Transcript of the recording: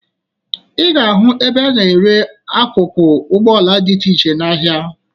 Ị ga-ahụ ebe a na-ere akụkụ ụgbọala dị iche iche n'ahịa